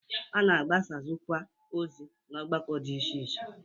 A na-agbasakwụazị ozi n'ọgbakọ dị iche iche.